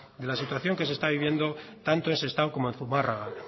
de la situación que se está viviendo tanto en sestao como en zumárraga